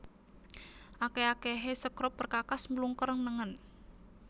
Akèh akèhé sekrup perkakas mlungker nengen